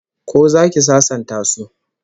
Ko zaki sasanta su?